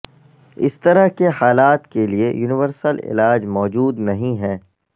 اس طرح کے حالات کے لئے یونیورسل علاج موجود نہیں ہیں